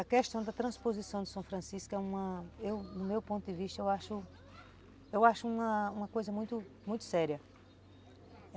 A questão da transposição de São Francisco, é uma, eu no meu ponto de vista, eu acho eu acho uma coisa muito séria.